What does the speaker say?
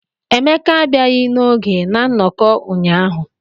Emeka abịaghị n'oge na nnọkọ ahụ.